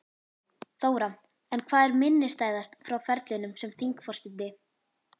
Þóra: En hvað er minnisstæðast frá ferlinum sem þingforseti?